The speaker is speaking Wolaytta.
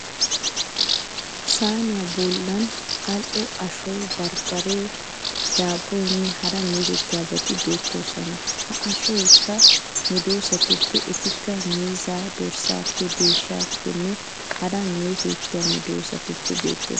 Sayiniya bollan modho ashoyi, barbbaree, daabboyinne hara meetettiyaabati beettoosona. Ha ashoyikka medoosatuppe etikka miizzaa, dorssaappenne deeshshaappenne hara meetettiya medoossatuppe beettes.